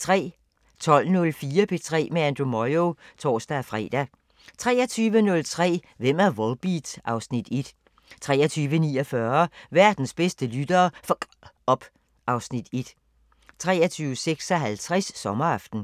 12:04: P3 med Andrew Moyo (tor-fre) 23:03: Hvem er Volbeat? (Afs. 1) 23:49: Verdens bedste lyttere f*cker op (Afs. 1) 23:56: Sommeraften